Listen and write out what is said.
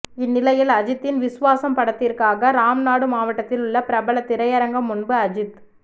இந்நிலையில் அஜித்தின் விஸ்வாசம் படத்திற்காக ராம்நாடு மாவட்டத்தில் உள்ள பிரபல திரையரங்கம் முன்பு அஜித்